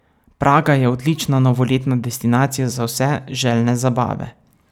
Praga je odlična novoletna destinacija za vse, željne zabave.